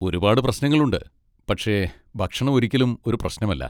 ഒരുപാട് പ്രശ്നങ്ങളുണ്ട്, പക്ഷെ ഭക്ഷണം ഒരിക്കലും ഒരു പ്രശ്നമല്ല.